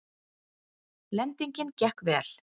Lendingin gekk vel